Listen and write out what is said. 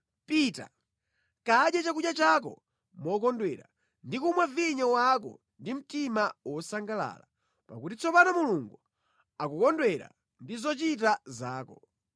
Pita, kadye chakudya chako mokondwera ndi kumwa vinyo wako ndi mtima wosangalala, pakuti tsopano Mulungu akukondwera ndi zochita zako.